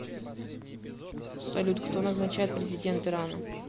салют кто назначает президент ирана